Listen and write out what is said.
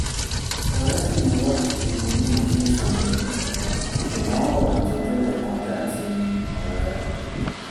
ọ̀rẹ́ sì ni wá di bí mo ṣe ń sọ yìí ṣùgbọ́n ọ̀rọ̀ tó délé kọjá ti ọ̀rẹ́